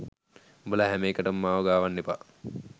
උඹලා හැම එකටම මාව ගාවන්න එපා